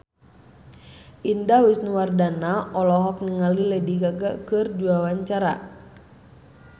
Indah Wisnuwardana olohok ningali Lady Gaga keur diwawancara